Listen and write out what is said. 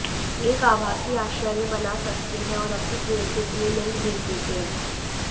एक आभासी आश्चर्य बना सकते हैं और अपनी प्रेयसी के लिए लिंक भेज देते हैं